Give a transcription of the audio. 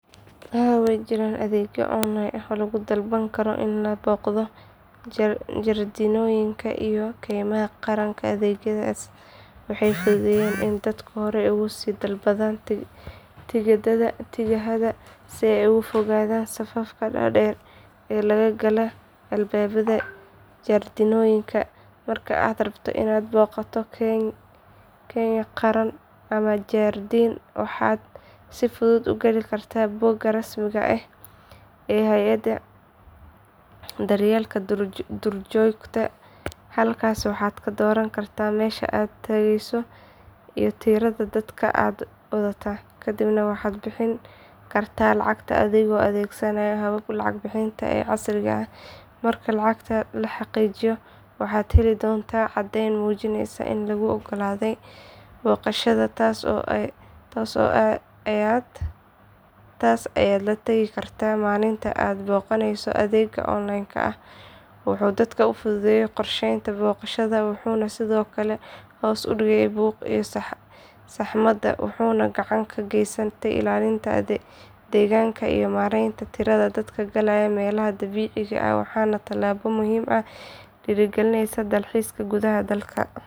Haa waa jiraan adeegyo online ah oo lagu dalban karo in la booqdo jardiinooyinka iyo keymaha qaranka adeegyadaas waxay fududeeyaan in dadku horay uga sii dalbadaan tigidhada si ay uga fogaadaan safafka dhaadheer ee laga gala albaabada jardiinooyinka marka aad rabto inaad booqato keyn qaran ama jardiin waxaad si fudud u gali kartaa bogga rasmiga ah ee hay’adda daryeelka duurjoogta halkaas waxaad ka dooran kartaa meesha aad tagayso iyo tirada dadka aad wadataa kadib waxaad bixin kartaa lacagta adigoo adeegsanaya hababka lacag bixinta ee casriga ah marka lacagta la xaqiijiyo waxaad heli doontaa caddeyn muujinaysa in laguu oggolaaday booqashada taas ayaad la tegi kartaa maalinta aad booqanayso adeeggan online ah wuxuu dadka u fududeeyay qorsheynta booqashada wuxuu sidoo kale hoos u dhigay buuqa iyo saxmadda wuxuuna gacan ka geysanayaa ilaalinta deegaanka iyo maareynta tirada dadka galaya meelaha dabiiciga ah waana tallaabo muhiim ah oo dhiirrigelinaysa dalxiiska gudaha dalka.